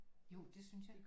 Jo det synes jeg